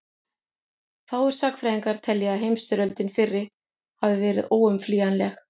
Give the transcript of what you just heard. fáir sagnfræðingar telja að heimsstyrjöldin fyrri hafi verið óumflýjanleg